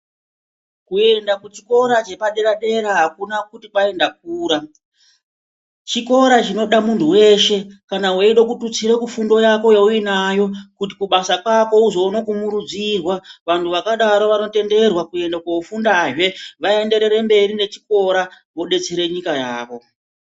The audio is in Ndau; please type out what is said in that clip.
Kuenda kuchikora chepadedera akuna kuti kwai ndakura chikora chinoda munthu weshe kana weida kututsira kufundo yako yaunayo kuti kubasa kwako uzoona kumurudzirwa vanthu vakadaro vanotenderwa kuende kofundazve vaenderere mberi nechikora vodetsere nyika yavo.